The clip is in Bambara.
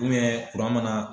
kuran mana